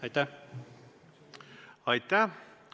Aitäh!